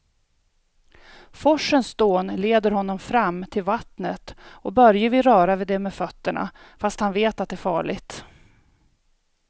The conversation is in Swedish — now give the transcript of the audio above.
Forsens dån leder honom fram till vattnet och Börje vill röra vid det med fötterna, fast han vet att det är farligt.